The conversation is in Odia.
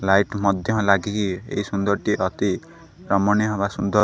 ଲାଇଟ୍ ମଧ୍ୟ ଲାଗିକି ଏହି ସୁନ୍ଦର ଅତି ରମଣୀୟ ହେବା ସୁନ୍ଦର --